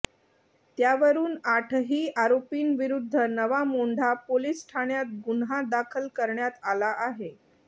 त्यावरुन आठही आरोपींविरुद्ध नवा मोंढा पोलीस ठाण्यात गुन्हा दाखल करण्यात आला आहे